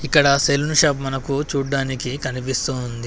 ఇక్కడ salon shop మనకు చూడ్డానికి కనిపిస్తూ ఉంది.